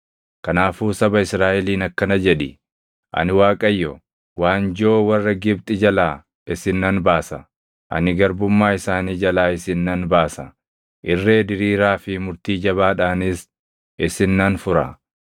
“Kanaafuu saba Israaʼeliin akkana jedhi: ‘Ani Waaqayyo; waanjoo warra Gibxi jalaa isin nan baasa; ani garbummaa isaanii jalaa isin nan baasa; irree diriiraa fi murtii jabaadhaanis isin nan fura.